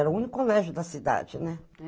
Era o único colégio da cidade, né?